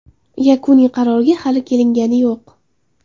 Yakuniy qarorga hali kelingani yo‘q.